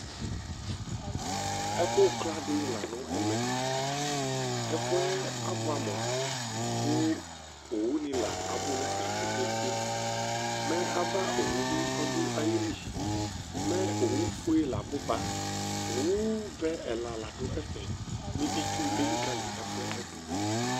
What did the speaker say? Ɛfʋkla dɩ lanʋ ɛmɛ Ɛfʋɛ abʋɛ amu, kʋ owu nɩ la abu nɛfɛ kpekpekpe Mɛ ava owu bɩ ɔdʋ ayili Mɛ owufue la abuba Owuvɛ ɛla la dʋ ɛfɛ Kʋ itsu nɩ bɩ elikǝli ɛfʋɛdʋ